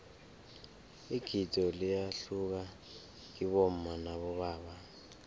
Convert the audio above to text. igido liyahluka kibomma nabobaba